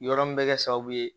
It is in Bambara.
Yɔrɔ min bɛ kɛ sababu ye